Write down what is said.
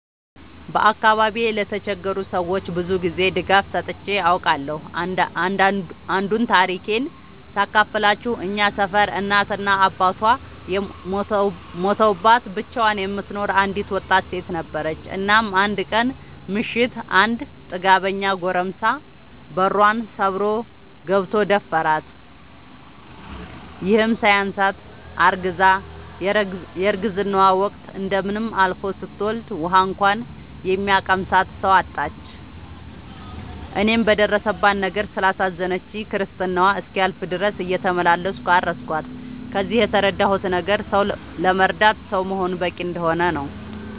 በአካባቢዬ ለተቸገሩ ሰዎች ብዙ ጊዜ ድጋፍ ሰጥቼ አውቃለሁ። አንዱን ታሪኬን ሳካፍላችሁ እኛ ሰፈር እናት እና አባቷ ሞተውባት ብቻዋን የምትኖር አንድ ወጣት ሴት ነበረች። እናም አንድ ቀን ምሽት አንድ ጥጋበኛ ጎረምሳ በሯን ሰብሮ ገብቶ ደፈራት። ይህም ሳያንሳት አርግዛ የረግዝናዋ ወቅት እንደምንም አልፎ ስትወልድ ውሀ እንኳን የሚያቀምሳት ሰው አጣች። እኔም በደረሰባት ነገር ስላሳዘነችኝ ክርስትናዋ እስኪያልፍ ድረስ እየተመላለስኩ አረስኳት። ከዚህ የተረዳሁት ነገር ሰው ለመርዳት ሰው መሆን በቂ እንደሆነ ነው።